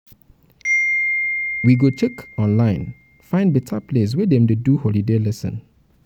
we go check um online find beta place um wey dem dey um do holiday lesson.